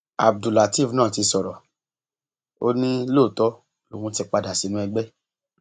abdullateef náà ti sọrọ ó ní lóòótọ lòún ti padà sínú ẹgbẹ